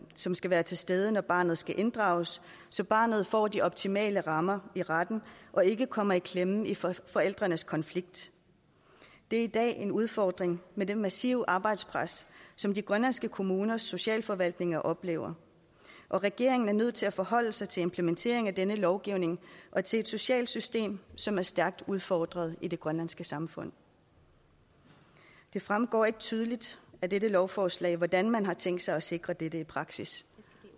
som skal være til stede når barnet skal inddrages så barnet får de optimale rammer i retten og ikke kommer i klemme i forældrenes konflikt det er i dag en udfordring med det massive arbejdspres som de grønlandske kommuners socialforvaltninger oplever regeringen er nødt til at forholde sig til implementeringen af denne lovgivning og til et socialt system som er stærkt udfordret i det grønlandske samfund det fremgår ikke tydeligt af dette lovforslag hvordan man har tænkt sig at sikre dette i praksis